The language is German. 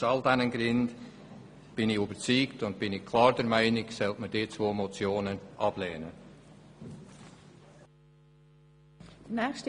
Aus all diesen Gründen bin ich davon überzeugt, dass man diese zwei Motionen ablehnen muss.